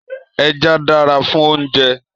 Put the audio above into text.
Èjà dàrá fún óoùnjè